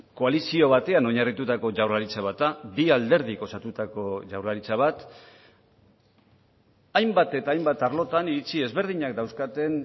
koalizio batean oinarritutako jaurlaritza bat da bi alderdi osatutako jaurlaritza bat hainbat eta hainbat arlotan iritzi ezberdinak dauzkaten